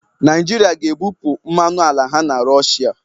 Naịjirịa ga-ebupụ mmanụ ala ha na Rọshịa